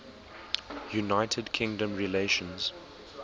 united kingdom relations